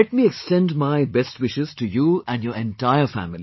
Let me extend my best wishes to you and your entire family